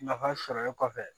Nafa sɔrɔlen kɔfɛ